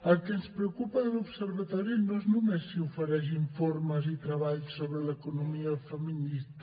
el que ens preocupa de l’observatori no és només si ofereix informes i treballs sobre l’economia feminista